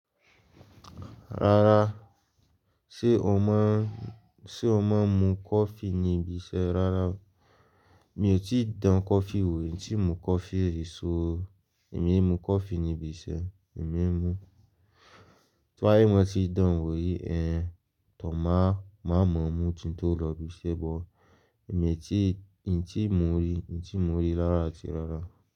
Rárá, ṣé o máa, ṣé o máa ń mu coffee ní ibi iṣẹ́ rárá? Mi ò tí ì dán coffee wò, n tí mo coffee ri so, èmi kii mu coffee ní ibi iṣẹ́, èmi kii mu. Tí wá ì mo ti dán wò rí, ẹ, tọ máa, má mọ̀ ọ́n mú tí tó lọ ibi iṣẹ́ bọ̀. Èmi tí, n tí mo rí, n tí mo rí lára ti rárá.